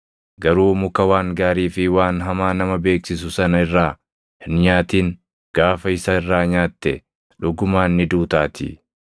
garuu muka waan gaarii fi waan hamaa nama beeksisu sana irraa hin nyaatin; gaafa isa irraa nyaatte dhugumaan ni duutaatii.”